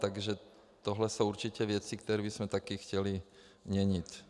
Takže to jsou určitě věci, které bychom také chtěli měnit.